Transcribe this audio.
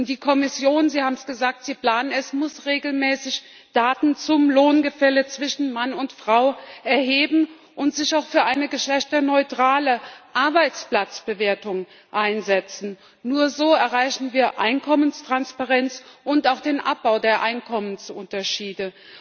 Die Kommission Sie haben es gesagt, Sie planen es muss regelmäßig Daten zum Lohngefälle zwischen Mann und Frau erheben und sich auch für eine geschlechterneutrale Arbeitsplatzbewertung einsetzen. Nur so erreichen wir Einkommenstransparenz und auch den Abbau der Einkommensunterschiede.